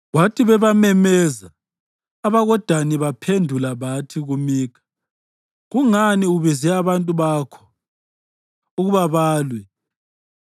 Kwathi bebamemeza, abakoDani baphendula bathi kuMikha, “Kungani ubize abantu bakho ukuba balwe?”